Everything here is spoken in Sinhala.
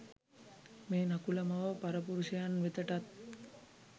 මේ නකුල මව පරපුරුෂයන් වෙතටත්